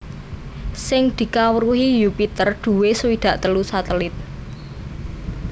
Sing dikawruhi Yupiter duwé swidak telu satelit